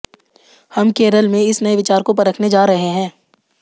हम केरल में इस नए विचार को परखने जा रहे हैं